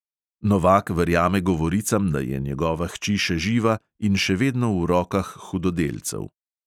Novak verjame govoricam, da je njegova hči še živa in še vedno v rokah hudodelcev.